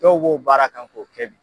Dɔw b'o baara k'an kun.